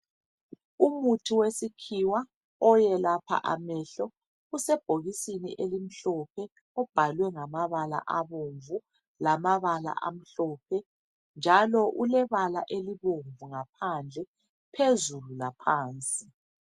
umuthi wesikhiwa oyelapha amehlo usebhokisini elimhlophe ubhalwe ngamabala abomvu lamabala amhlophe njalo ulebala elibomvu ngaphandle phezulu laphansi